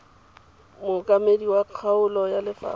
mookamedi wa kgaolo wa lefapha